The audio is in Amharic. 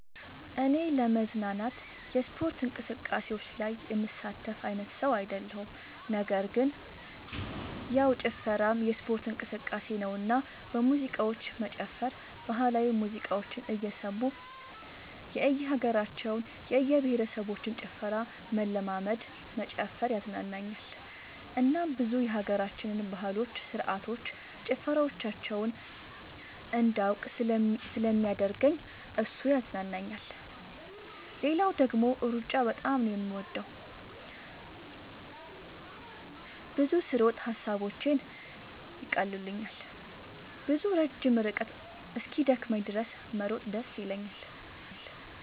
እኔ ለመዝናናት የስፖርት እንቅስቃሴዎች ላይ የምሳተፍ አይነት ሰው አይደለሁም ነገር ግን ያው ጭፈራም የስፖርት እንቅስቃሴ ነውና በሙዚቃዎች መጨፈር ባህላዊ ሙዚቃዎችን እየሰሙ የእየሀገራቸውን የእየብሄረሰቦችን ጭፈራ መለማመድ መጨፈር ያዝናናኛል እናም ብዙ የሀገራችንን ባህሎች ስርዓቶች ጭፈራዎቻቸውን እንዳውቅ ስለሚያደርገኝ እሱ ያዝናናኛል። ሌላው ደግሞ ሩጫ በጣም ነው የምወደው። ብዙ ስሮጥ ሐሳቦቼን ይቀሉልኛል። ብዙ ረጅም ርቀት እስኪደክመኝ ድረስ መሮጥ ደስ ይለኛል።